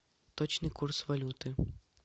точный курс валюты